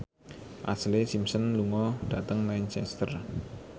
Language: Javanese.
Ashlee Simpson lunga dhateng Lancaster